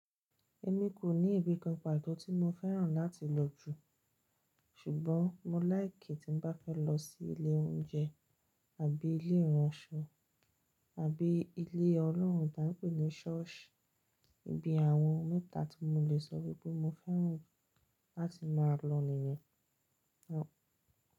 Èmi kò ní ibì kankan pàtó tí mo fẹ́ràn láti lọ jù, ṣùgbọ́n mo láìki tí n bá fẹ́ lọ sí ilé oúnjẹ àbí ilé ìránṣọ, àbí ilé Ọlọ́run tí a n pè ní ṣọ́ọ̀ṣì. Ibi àwọn mẹ́ta tí mo lè sọ wípé mo fẹ́ràn láti máa lọ nìyẹn.